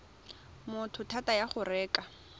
motho thata ya go reka